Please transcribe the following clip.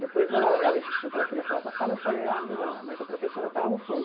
Depois, ela ela insistiu que ela queria falar com a sala e eu falei, ah, não, mas a professora está lá no fundo.